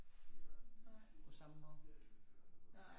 På samme måde